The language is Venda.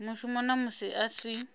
mushumo na musi a si